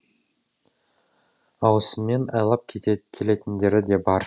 ауысыммен айлап келетіндері де бар